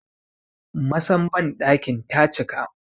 Masan bandakin ta cika